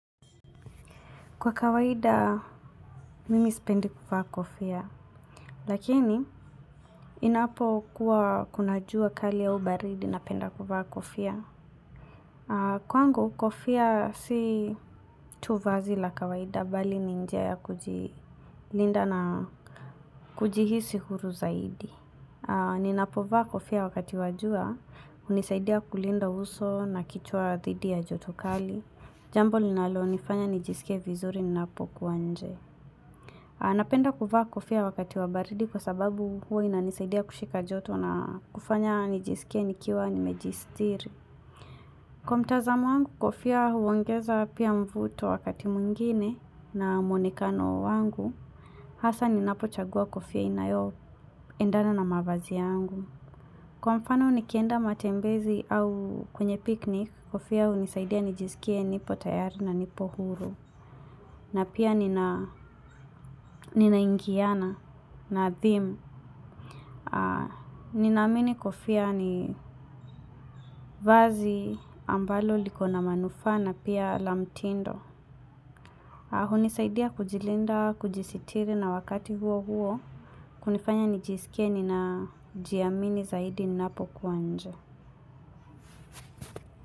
Kwa kawaida, mimi sipendi kuvaa kofia. Lakini, inapokuwa kuna jua kali au baridi napenda kuvaa kofia. Kwangu, kofia si tu vazi la kawaida, bali ni njia ya kujilinda na kujihisi huru zaidi. Ninapovaa kofia wakati wa jua, hunisaidia kulinda uso na kichwa thidi ya joto kali. Jambo linalonifanya nijisikie vizuri ninapo kuwa nje. Napenda kuvaa kofia wakati wa baridi kwa sababu huwa inanisaidia kushika joto na kufanya nijisikie nikiwa nimejistiri. Kwa mtazamo wangu kofia huongeza pia mvuto wakati mwingine na mwonekano wangu, hasa ninapochagua kofia inayoendana na mavazi yangu. Kwa mfano nikienda matembezi au kwenye piknik, kofia hunisaidia nijisikie nipo tayari na nipo huru. Na pia ninaingiana na theme. Ninaamini kofia ni vazi ambalo liko na manufaa na pia la mtindo. Hunisaidia kujilinda, kujisitiri na wakati huo huo. Kunifanya nijisikie ninajiamini zaidi ninapo kuwa nje.